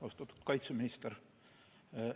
Austatud kaitseminister!